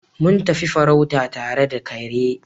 Mun tafi farauta tare da kare.